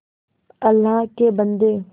अल्लाह के बन्दे